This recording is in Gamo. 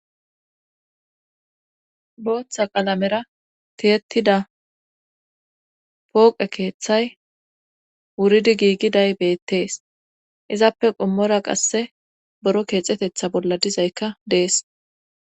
booththa qalamera tiyetida pooqe keeththay wuridi giigiday beettees izappe qommora qasse boro keexetetha bolla dizaykka dees